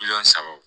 Miliyɔn saba wo